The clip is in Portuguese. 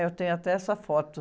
Eu tenho até essa foto.